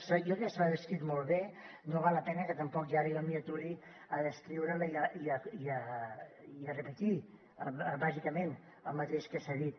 jo crec que se l’ha descrit molt bé no val la pena que tampoc ara jo m’hi aturi a descriure la i a repetir bàsicament el mateix que s’ha dit